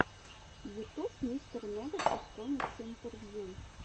ютюб мистер нэгатив коммиксы интервью